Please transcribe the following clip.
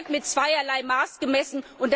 Hier wird mit zweierlei Maß gemessen.